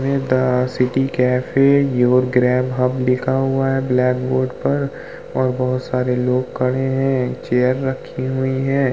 The city cafe your grey hub लिखा हुआ है ब्लैक बोर्ड पर और बहुत सारे लोग खड़े हैं। चेयर रखी हुई हैं।